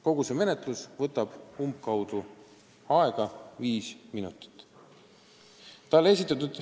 Kogu see menetlus võtab umbkaudu aega viis minutit.